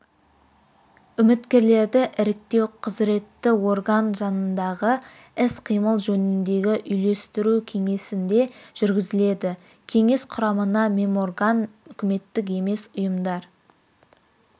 үміткерлерді іріктеу құзыретті орган жанындағы іс-қимыл жөніндегі үйлестіру кеңесінде жүргізіледі кеңес құрамына меморган үкіметтік емес үұйымдар